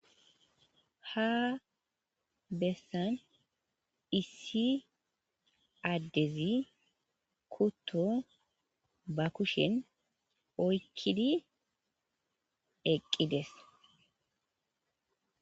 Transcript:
Ha bessan issi addezi kutto ba kushen oykkidi eqqides.